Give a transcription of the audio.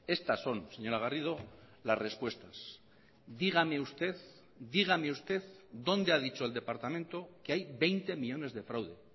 estas son señora garrido las respuestas dígame usted dígame usted dónde ha dicho el departamento que hay veinte millónes de fraude